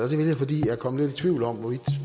vil jeg fordi jeg er kommet lidt i tvivl om